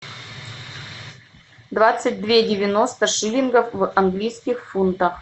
двадцать две девяносто шиллингов в английских фунтах